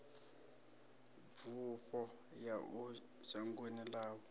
bufho ya uya shangoni ḽavho